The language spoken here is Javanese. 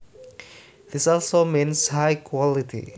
This also means high quality